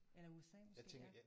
Eller USA måske ja